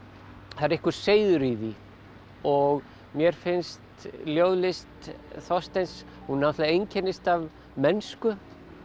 það er einhver seiður í því og mér finnst ljóðlist Þorsteins hún náttúrulega einkennist af mennsku